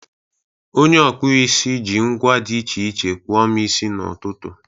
Onye ọkpụ isi ji ngwa dị iche iche kpụọ m isi n'ụtụtụ.